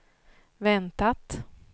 väntat